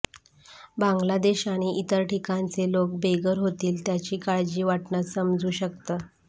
बांग्लादेश आणि इतर ठिकाणचे लोक बेघर होतील त्याची काळजी वाटणं समजू शकतं